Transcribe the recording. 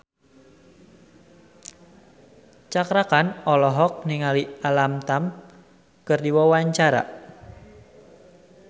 Cakra Khan olohok ningali Alam Tam keur diwawancara